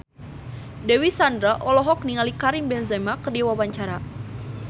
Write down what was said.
Dewi Sandra olohok ningali Karim Benzema keur diwawancara